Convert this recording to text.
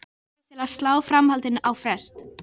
Hann neyddist til að slá framhaldinu á frest.